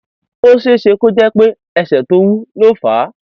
ó ṣeé ṣe kó jẹ pé ẹsẹ tó ti wú ló fà á